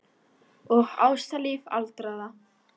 Og ástalíf aldraðra.